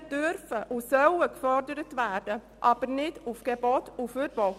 Technologien dürfen und sollen gefördert werden, aber nicht mittels Gebot und Verbot.